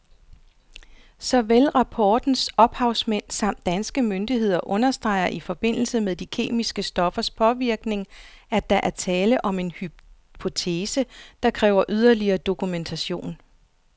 Såvel rapportens ophavsmænd samt danske myndigheder understreger i forbindelse med de kemiske stoffers påvirkning, at der er tale om en hypotese, der kræver yderligere dokumentation.